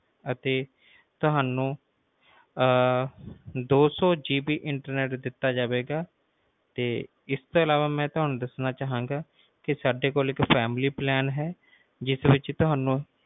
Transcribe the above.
ਅਸੀਂ ਤੁਹਾਨੂੰ twohundredGBinternet ਦਿੱਤਾ ਜਾਵੇਗਾ ਤੇ ਇਸ ਤੋਂ ਅਲਾਵਾ ਮੈਂ ਤੁਹਾਨੂੰ ਕਿ ਸਾਡੇ ਕੋਲ ਇੱਕ familypack ਹੈ ਜਿਸ ਵਿਚ